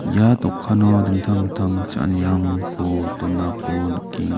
ia dokano dingtang dingtang cha·anirangko donako nikenga.